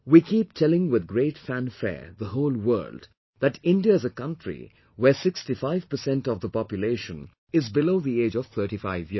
We keep telling with great fanfare the whole world that India is a country where 65% of the population is below the age of 35 years